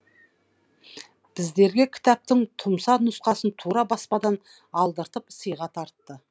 біздерге кітаптың тұмса нұсқасын тура баспадан алдыртып сыйға тартты